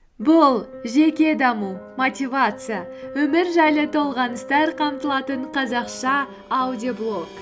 бұл жеке даму мотивация өмір жайлы толғаныстар қамтылатын қазақша аудиоблог